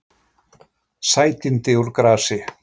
Sætindi úr grasi